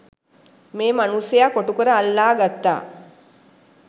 මේ මනුස්සයා කොටුකර අල්ලා ගත්තා.